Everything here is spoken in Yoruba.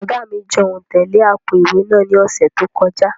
Oga mi jan ontẹ le apo-iwe naa ni ọsẹ to kọja.